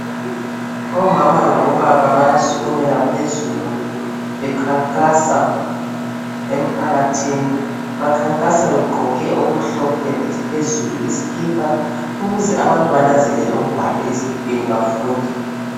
Omama labo baba baya sukumela phezulu bekhankasa emphakathini bakhankasa beqgoke okumhlophe phezulu izikipa ukuze abantu bananzelele okubhalwe ezikipeni bafunde .